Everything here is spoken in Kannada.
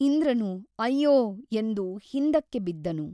ಇಂದ್ರನು ಅಯ್ಯೋ ಎಂದು ಹಿಂದಕ್ಕೆ ಬಿದ್ದನು.